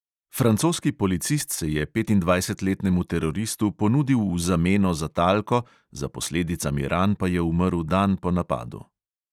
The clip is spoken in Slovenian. Francoski policist se je petindvajsetletnemu teroristu ponudil v zameno za talko, za posledicami ran pa je umrl dan po napadu.